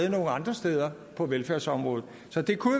ind andre steder på velfærdsområdet så det kunne